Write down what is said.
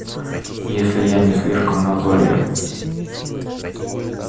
если я не слишком назойлив